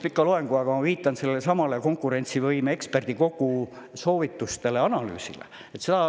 Ma võiksin pidada pika loengu, aga ma viitan sellesama konkurentsivõime eksperdikogu soovitustele, analüüsile.